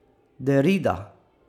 Derrida?